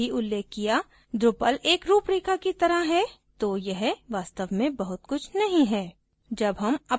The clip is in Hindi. जैसा कि हमने पहले ही उल्लेख किया drupal एक रूपरेखा ढांचा की तरह है तो यह वास्तव में बहुत कुछ नहीं है